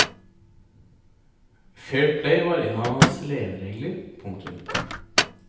Fair play var en av hans leveregler. punktum